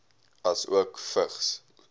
asook vigs